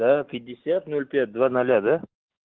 да пятьдесят ноль пять два ноля да